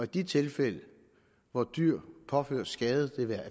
de tilfælde hvor dyr påføres skader det være